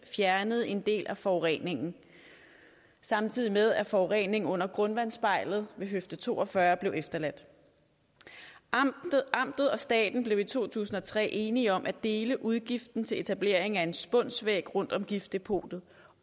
fjernede en del af forureningen samtidig med at forureningen under grundvandsspejlet ved høfde to og fyrre blev efterladt amtet og staten blev i to tusind og tre enige om at dele udgiften til etableringen af en spunsvæg rundt om giftdepotet